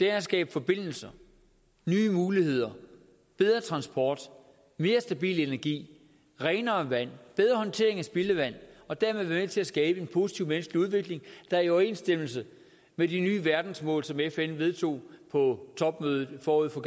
at skabe forbindelser nye muligheder bedre transport mere stabil energi renere vand bedre håndtering af spildevand og dermed være med til at skabe en positiv menneskelig udvikling der er i overensstemmelse med de nye verdensmål som fn vedtog på topmødet forud for